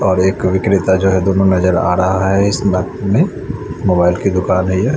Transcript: बाहर एक विक्रेता जो है दोनो नजर आ रहा है इस में मोबाइल की दुकान है ये--